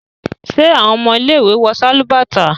ṣe awọn ọmọ ile-iwe wọ Sálúbàtà?